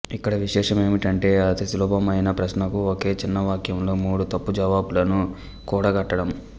ఇక్కడ విశేషమేమంటే అతిసులభమైన ప్రశ్నకు ఒకే చిన్న వాక్యంలో మూడు తప్పు జవాబులను కూడగట్టడం